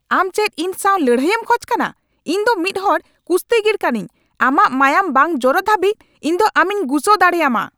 ᱟᱢ ᱪᱮᱫ ᱤᱧ ᱥᱟᱶ ᱞᱟᱹᱲᱦᱟᱹᱭᱮᱢ ᱠᱷᱚᱡ ᱠᱟᱱᱟ ? ᱤᱧ ᱫᱚ ᱢᱤᱫ ᱦᱚᱲ ᱠᱩᱥᱛᱤᱜᱤᱨ ᱠᱟᱹᱱᱟᱹᱧ ! ᱟᱢᱟᱜ ᱢᱟᱸᱭᱟᱸᱢ ᱵᱟᱝ ᱡᱚᱨᱚᱜ ᱫᱷᱟᱵᱤᱡ ᱤᱧ ᱫᱚ ᱟᱢᱤᱧ ᱜᱩᱥᱟᱹᱣ ᱫᱟᱲᱮᱭᱟᱢᱟ ᱾